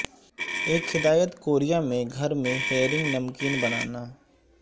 ایک ہدایت کوریا میں گھر میں ہیرنگ نمکین بنانا